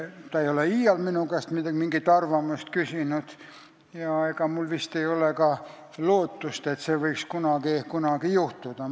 Ta ei ole iial minu käest mingit arvamust küsinud ja vist ei ole ka lootust, et see võiks kunagi juhtuda.